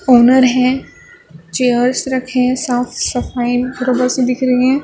Owner हैं chairs रखे हैं साफ़ सफाई देख रही हैं।